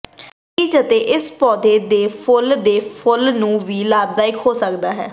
ਬੀਜ ਅਤੇ ਇਸ ਪੌਦੇ ਦੇ ਫੁੱਲ ਦੇ ਫੁੱਲ ਨੂੰ ਵੀ ਲਾਭਦਾਇਕ ਹੋ ਸਕਦਾ ਹੈ